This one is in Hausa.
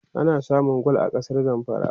ana samun gwal a kasar zamfara